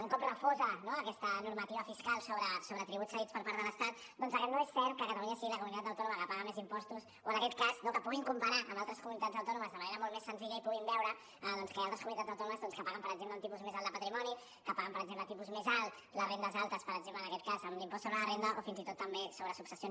un cop refosa aquesta normativa fiscal sobre tributs cedits per part de l’estat doncs que no és cert que catalunya sigui la comunitat autònoma que paga més impostos o en aquest cas que puguin comparar amb altres comunitats autònomes de manera molt més senzilla i puguin veure que hi ha altres comunitats autònomes que paguen per exemple un tipus més alt de patrimoni que paguen per exemple un tipus més alt les rendes altes per exemple en aquest cas amb l’impost sobre la renda o fins i tot també sobre successions